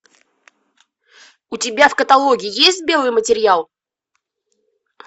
у тебя в каталоге есть белый материал